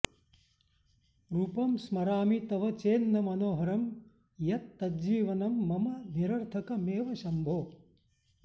रूपं स्मरामि तव चेन्न मनोहरं यत् तज्जीवनं मम निरर्थकमेव शम्भो